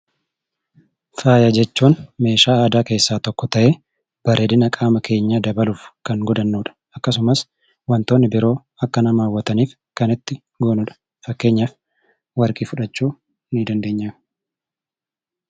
Faaya jechuun meeshaa aadaa keessaa tokko ta'ee bareedina qaama keenyaa dabaluuf kan godhannudha. Akkasumas wantootni biroo akka nama hawwataniif kan itti goonudha. Fakkeenyaaf warqii fudhachuu ni dandeenya.